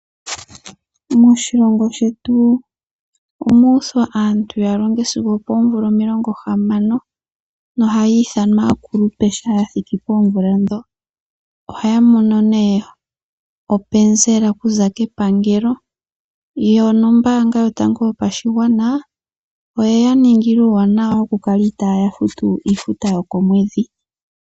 Moshilongo shetu omu uthwa aantu yalonge sigo opoomvula omilongo hamano, nohaya ithanwa aakulupe shampa yathiki poomvula ndhono. Ohaya mono openzela okuza kepangelo, yo nombaanga yotango yopashigwana, oyeya ningila uuwanawa okukala itaaya futu iifuta yokomwedhi.